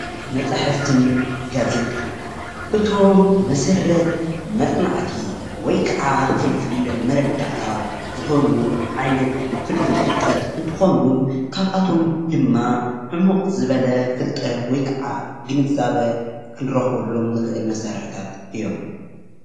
መፃሕፍትን ጋዜጣን እቶም መሰረት መፅናዕቲ ወይ ክዓ ፍልፍል መረዳእታ ዝኾኑ ዓይነት ፍልፍል ፍልጠት እንትኾኑ ካብኣቶም ድማ ዕሙቕ ዝበለ ፍልጠት ወይ ክዓ ግንዛበ ክንረኽበሎም ንኽእል መሳርሕታት እዮም፡፡